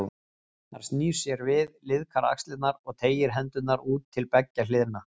Hann snýr sér við, liðkar axlirnar og teygir hendurnar út til beggja hliða.